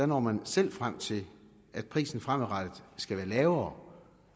når man selv frem til at prisen fremadrettet skal være lavere